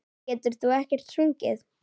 En getur þú ekkert sungið?